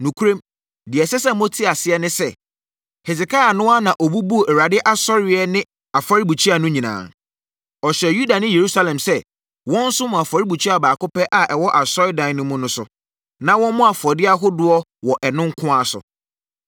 Nokorɛm, deɛ ɛsɛ sɛ mote aseɛ ne sɛ, Hesekia no ara na ɔbubuu Awurade asɔreeɛ ne afɔrebukyia no nyinaa. Ɔhyɛɛ Yuda ne Yerusalem sɛ wɔnsom wɔ afɔrebukyia baako pɛ a ɛwɔ Asɔredan no mu no so, na wɔmmɔ afɔdeɛ ahodoɔ wɔ ɛno nko ara so.